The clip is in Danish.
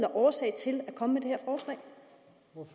årsag til at komme